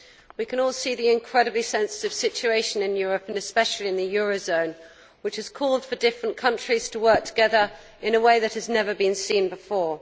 We can all see the incredibly sensitive situation in Europe and especially in the eurozone which has required different countries to work together in a way that has never been seen before.